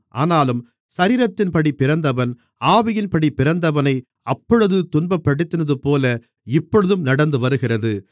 ஆனாலும் சரீரத்தின்படி பிறந்தவன் ஆவியின்படி பிறந்தவனை அப்பொழுது துன்பப்படுத்தினதுபோல இப்பொழுதும் நடந்துவருகிறது